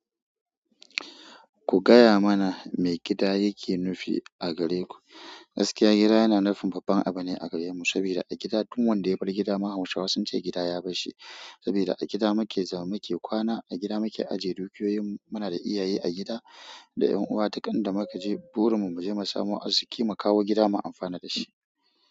Ku gaya mana me gida yake nufi a gare ku. Gaskiya gida yana nufin babban abu ne a gare mu, saboda a gida duk wanda ya bar gida ma Hausawa sun ce gida ya bar shi. Saboda a gida mu ke zama, mu ke kwana, a gida mu ke ajiye dukiyoyin mu. Mu na da iyaye a gida, da 'yan uwa, duk in da muka je burin mu, mu je mu samu arziki mu kawo gida mu amfana da shi.